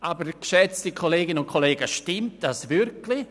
Aber, geschätzte Kolleginnen und Kollegen, stimmt das wirklich?